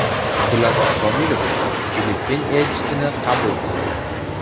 Abdulaziz Komilov Filippin elchisini qabul qildi.